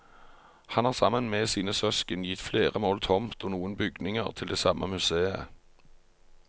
Han har sammen med sine søsken gitt flere mål tomt og noen bygninger til det samme museet.